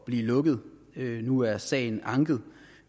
blive lukket nu er sagen anket